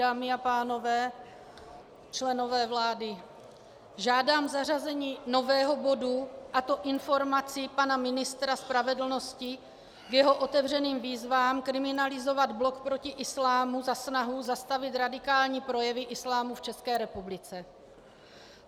Dámy a pánové, členové vlády, žádám zařazení nového bodu, a to informaci pana ministra spravedlnosti k jeho otevřeným výzvám kriminalizovat Blok proti islámu za snahu zastavit radikální projevy islámu v České republice.